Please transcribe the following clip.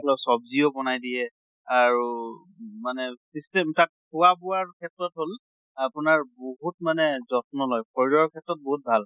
ৰ চব্জিও বনাই দিয়ে আৰু মানে system তাক খোৱা বোৱাৰ ক্ষেত্ৰত হʼল আপোনাৰ বহুত মানে যত্ন লয়, শৰীৰৰ ক্ষেত্ৰত বহুত ভাল।